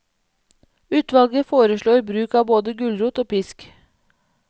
Utvalget foreslår bruk av både gulrot og pisk.